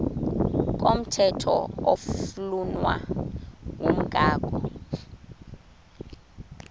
komthetho oflunwa ngumgago